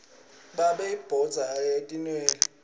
babe uphotsa atinwele